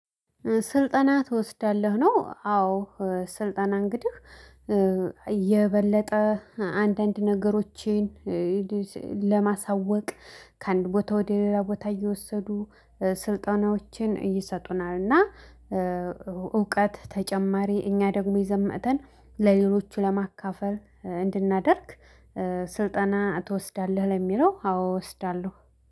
ስልጠና ትወስዳለህ ነው? አዎ። ስልጠና እንግዲህ የበለጠ አንዳንድ ነገሮቼን። ለማሳወቅ ከአንድ ቦታ ወደ ሌላ ቦታ እየወሰዱ ስልጠናዎችን ይሰጡናል እና እውቀት ተጨማሪ እኛ ደግሞ ይዘን መተን ለሌሎቹ ለማካፈል እንድናደርግ። ስልጠና ትወስዳለህ? ለሚለው አዎ እወስዳለሁ